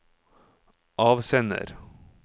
avsender